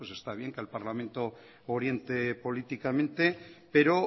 está bien que al parlamento oriente políticamente pero